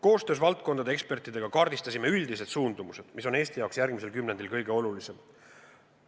Koostöös valdkondade ekspertidega kaardistasime üldised suundumused, mis on Eesti jaoks järgmisel kümnendil kõige olulisemad.